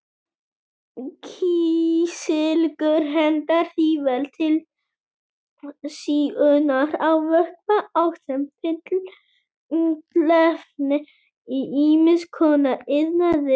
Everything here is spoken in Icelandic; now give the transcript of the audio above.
Kísilgúr hentar því vel til síunar á vökva og sem fylliefni í ýmis konar iðnaði.